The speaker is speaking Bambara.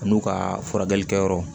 An'u ka furakɛli kɛyɔrɔ